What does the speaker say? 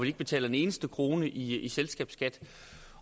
ikke betaler en eneste krone i i selskabsskat